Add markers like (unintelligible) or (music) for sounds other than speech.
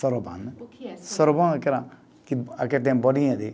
Soroban né. O que é. (unintelligible) Soroban é aquela que, aquele que tem bolinha de